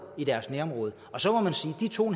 i deres nærområde så må man sige at de to